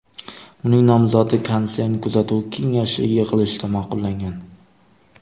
Uning nomzodi konsern kuzatuv kengashi yig‘ilishida ma’qullangan.